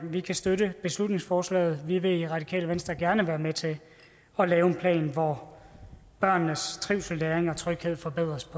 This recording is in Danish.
vi kan støtte beslutningsforslaget vi vil i radikale venstre gerne være med til at lave en plan hvor børnenes trivsel læring og tryghed forbedres